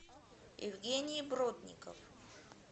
евгений бродников